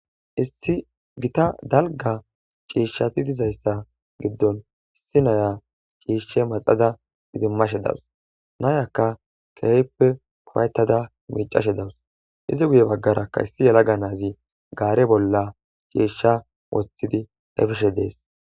Issi gita dalga ciishshati dizayssa giddon issi naya ciishshe maxada gidimmashe dawus nayakka keeyppe puwaytada miicashe dawus izi guye baggarakka issi yala ga nazi gaare bolla ciishsha wostidi dhayfishe dees